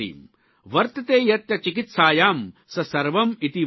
વતર્તે યત્ ચિકિત્સાયાં સ સવર્મ ઇતિ વર્તતે